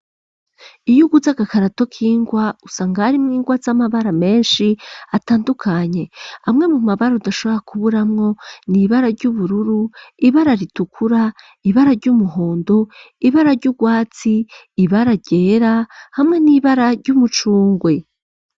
Iyo uguze agakarato k'ingwa usanga ari mwe ingwa z'amabara menshi atandukanye amwe mu mabara udashobora kubura mwo niibara ry'ubururu ibara ritukura ibara ry'umuhondo ibara ry'ubwatsi ibara gera hamwe n'ibara ry'umucungwe.